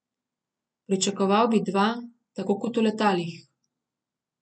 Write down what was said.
Pričakoval bi dva, tako kot v letalih.